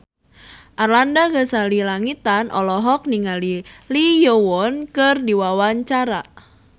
Arlanda Ghazali Langitan olohok ningali Lee Yo Won keur diwawancara